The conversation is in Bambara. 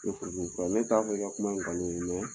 Tɛ furu diminin fura ye ne t'a fɔ i ka kuma ye nkalon mɛ